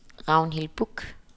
Ragnhild Buch